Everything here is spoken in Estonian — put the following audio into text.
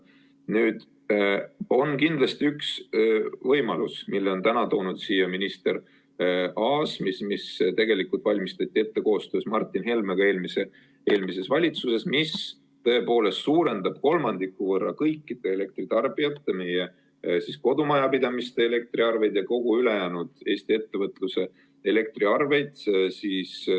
Nüüd on kindlasti üks võimalus, mille on täna toonud siia minister Aas, mis tegelikult valmistati ette koostöös Martin Helmega eelmises valitsuses, ja mis tõepoolest suurendab kolmandiku võrra kõikide elektritarbijate, meie kodumajapidamiste elektriarveid ja kogu ülejäänud Eesti ettevõtluse elektriarveid.